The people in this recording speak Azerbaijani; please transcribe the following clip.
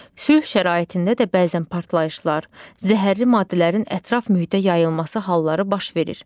Sülh şəraitində də bəzən partlayışlar, zəhərli maddələrin ətraf mühitə yayılması halları baş verir.